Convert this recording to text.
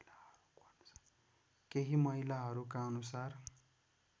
केही महिलाहरूका अनुसार